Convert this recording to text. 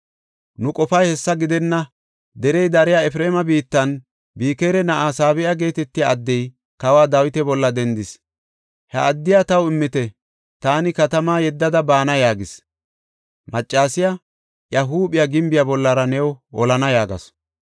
Nu qofay hessa gidenna. Derey dariya Efreema biittan Bikira na7aa Sabe7a geetetiya addey kawa Dawita bolla dendis. He addiya taw immite; taani katamaa yeddada baana” yaagis. Maccasiya, “Iya huuphiya gimbiya bollara new holana” yaagasu.